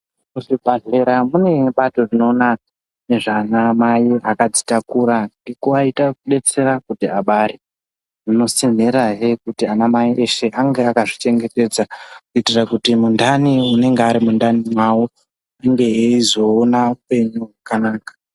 Muzvibhedhlera mune bato rinoona nezvanamai akadzitakura ngekuvaita kubetsera kuti abare. Rinotsinhirahe kuti anamai eshe ange akazvichengetedza kuitira kuti mundani unenge ari mundani mavo inge eizoona upenyu hwakanaka.